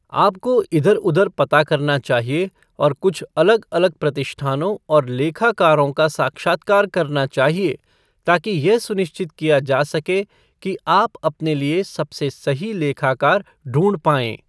आपको इधर उधर पता करना चाहिए और कुछ अलग अलग प्रतिष्ठानों और लेखाकारों का साक्षात्कार करना चाहिए ताकि यह सुनिश्चित किया जा सके कि आप अपने लिए सबसे सही लेखाकार ढूंढ पायें।